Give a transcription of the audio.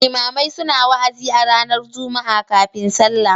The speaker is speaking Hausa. Limamai suna wa'azi a ranar Juma'a kafin sallah.